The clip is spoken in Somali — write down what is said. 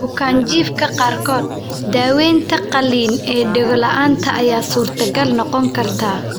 Bukaanjiifka qaarkood, daawaynta qalliin ee dhego la'aanta ayaa suurtagal noqon karta.